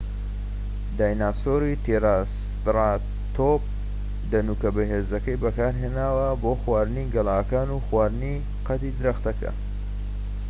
دایناسۆری ترایسێراتۆپ دەنوکە بەهێزەکەی بەکارهێناوە بۆ خواردنی گەڵاکان و خواردنی قەدی درەختەکە